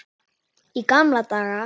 Í gamla daga.